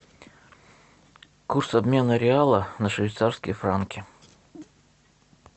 курс обмена реала на швейцарские франки